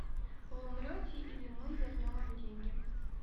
вы умрете или мы вернем вам деньги